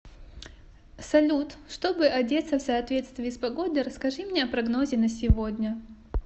салют чтобы одеться в соответствии с погодой расскажи мне о прогнозе на сегодня